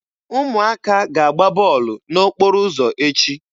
Ụmụaka ga-agba bọọlụ n'okporo ụzọ echi.